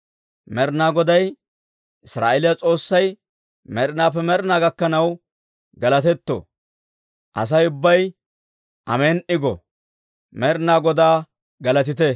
Med'inaa Goday, Israa'eeliyaa S'oossay med'inaappe med'inaa gakkanaw galatetto! Asay ubbay, «Amen"i!» go. Med'inaa Godaa galatite!